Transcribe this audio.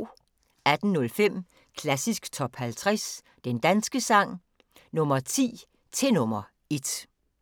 18:05: Klassisk Top 50 Den danske sang – Nr. 10 til nr. 1